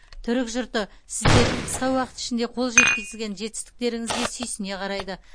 түрік жұрты сіздердің қысқа уақыт ішінде қол жеткізген жетістіктеріңізге сүйсіне қарайды